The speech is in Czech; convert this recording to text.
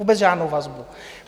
Vůbec žádnou vazbu!